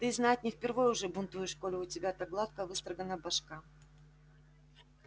ты знать не впервой уже бунтуешь коли у тебя так гладко выстрогана башка